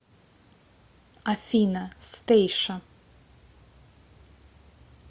афина стэйша